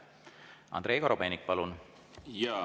Andrei Korobeinik, palun!